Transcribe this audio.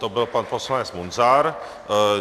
To byl pan poslanec Munzar.